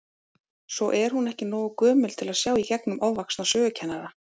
Svo er hún ekki nógu gömul til að sjá í gegnum ofvaxna sögukennara.